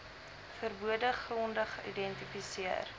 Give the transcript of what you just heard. verbode gronde geïdentifiseer